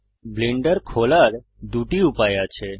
Blender খোলার দুটি উপায় আছে